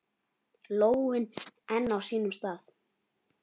Lóin enn á sínum stað.